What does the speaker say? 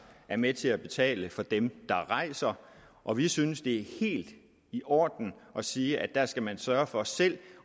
er med til at betale for dem der rejser og vi synes det er helt i orden at sige at der skal man sørge for selv